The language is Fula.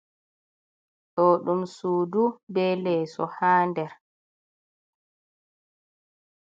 Ɗo ɗum sudu be leeso ha nder.